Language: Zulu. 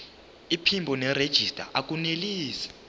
iphimbo nerejista akunelisi